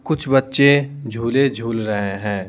कुछ बच्चे झूले झूल रहे हैं।